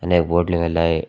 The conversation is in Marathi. आणि एक बोर्ड लिवलेला आहे.